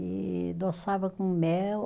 E adoçava com mel.